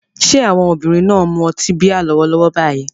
Ṣé àwọn obìnrin náà ń mu ọtí bíà lọ́wọ́lọ́wọ́ báyìí?